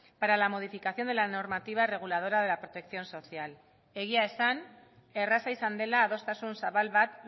para la modificación de la normativa reguladora de la protección social egia esan erraza izan dela adostasun zabal bat